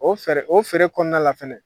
O o feere kɔnɔna la fɛnɛ